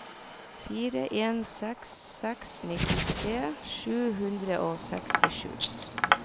fire en seks seks nittitre sju hundre og sekstisju